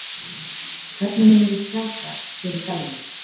Hvernig munum við sjá það hér í dalnum?